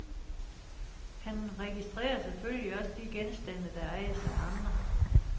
Han registrerer selvfølgelig også de genstande, der ejes af andre.